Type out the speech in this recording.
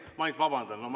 Ma vabandan!